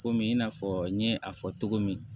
Komi in n'a fɔ n ye a fɔ cogo min